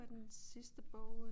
Hvad er den sidste bog øh